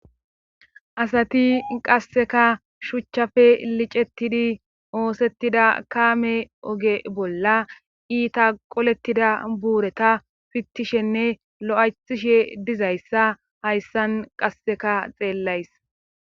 Asati qasseka shuchchafe licettidi oosettida kaame oge bolla iita qolettida buureta pittishenne lo7aythishe dizayssa hayssan qasseka xeellays